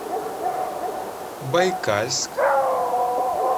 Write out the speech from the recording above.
байкальск